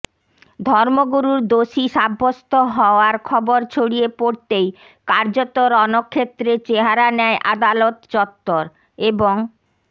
ধর্মগুরুর দোষী সাব্যস্ত হওয়ার খবর ছড়িয়ে পড়তেই কার্যত রণক্ষেত্রের চেহারা নেয় আদালত চত্বর এবং